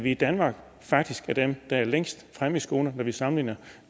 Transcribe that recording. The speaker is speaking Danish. i danmark faktisk er dem der er længst fremme i skoene når vi sammenligner